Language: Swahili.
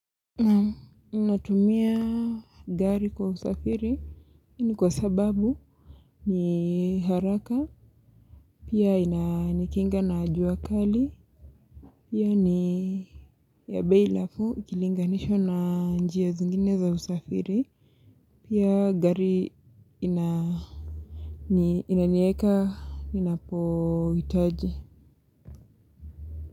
Naam natumia gari kwa usafiri ni kwa sababu ni haraka, pia inanikinga na jua kali. Pia ni ya bei nafuu ikilinganishwa na njia zingine za usafiri, pia gari ina inaniweka ninapohitaji.